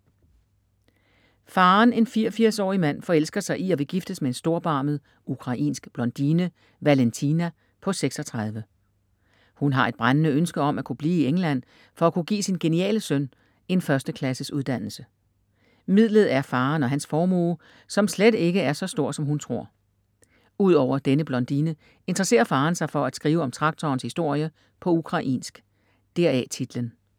Faderen, en 84 årig mand forelsker sig i og vil giftes med en storbarmet ukrainsk blondine, Valentina, på 36. Hun har et brændende ønske om at kunne blive i England for at kunne give sin geniale søn en førsteklasses uddannelse. Midlet er faderen og hans formue, som slet ikke er så stor som hun tror. Udover denne blondine interesserer faderen sig for at skrive om traktorens historie på ukrainsk. Deraf titlen.